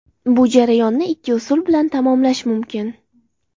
Bu jarayonni ikki usul bilan tamomlash mumkin.